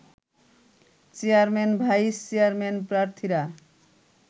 chairman vice chairman প্রার্থীরা